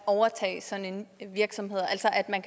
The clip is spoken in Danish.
at overtage sådan en virksomhed altså at man